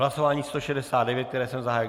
Hlasování 169, které jsem zahájil.